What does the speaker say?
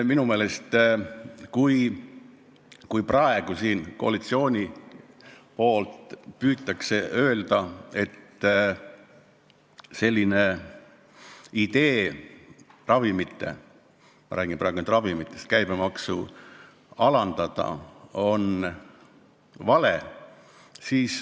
Praegu püüab koalitsiooni pool öelda, et idee alandada ravimite – ma räägin praegu ainult ravimitest – käibemaksu on vale.